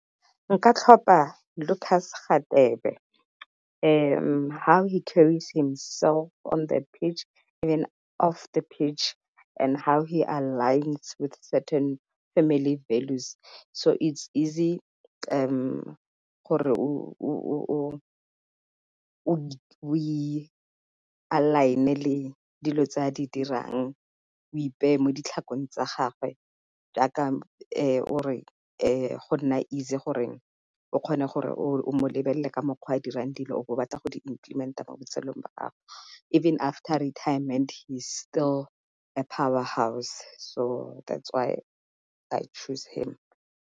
Nka tlhopha Lucas Radebe how he carries himself on the pitch and then off the pitch and how he aligns with certain family values. So it's easy gore o align-e le dilo tsa di dirang o ipeye mo ditlhakong tsa gagwe, jaaka o re go nna easy gore o kgone gore o lebelele ka mokgwa dirang dilo o be o batla go di implement-a mo botshelong jwa gago. Even after retirement he is still a power house so that's why I choose him..